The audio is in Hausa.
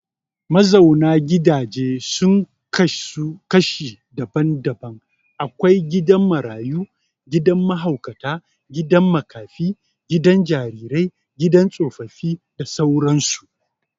Mazauna gidaje sun kasu kashi daban-daban akwai gidan Marayu, gidan Mahaukata, gidan makafi, gidan jarire gidan tsofaffi da sauran su